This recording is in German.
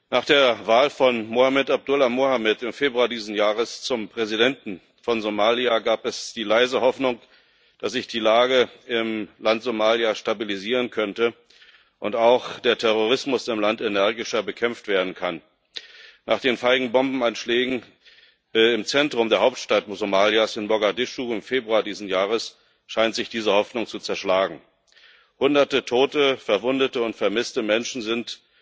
Nach der Wahl von Mohamed Abdullahi Mohamed im Februar dieses Jahres zum Präsidenten von Somalia gab es die leise Hoffnung, dass sich die Lage im Land Somalia stabilisieren könnte und auch der Terrorismus im Land energischer bekämpft werden kann. Nach den feigen Bombenanschlägen im Zentrum der Hauptstadt Somalias, in Mogadischu, im Februar dieses Jahres scheint sich diese Hoffnung zu zerschlagen. Hunderte tote, verwundete und vermisste Menschen sind